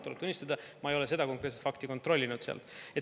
Tuleb tunnistada, ma ei ole seda konkreetset fakti kontrollinud.